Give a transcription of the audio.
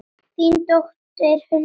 Þín dóttir, Hulda Sjöfn.